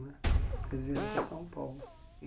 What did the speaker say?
Né então, eles vieram para São Paulo.